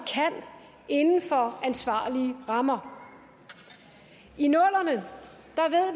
inden for ansvarlige rammer i nullerne